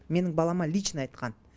менің балама лично айтқан